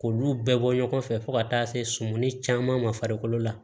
K'olu bɛɛ bɔ ɲɔgɔn fɛ fo ka taa se sumani caman ma farikolo la